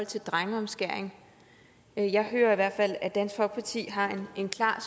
til drengeomskæring jeg hører i hvert fald at dansk folkeparti har en klar